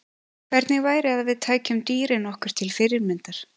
Hvernig væri að við tækjum dýrin okkur til fyrirmyndar?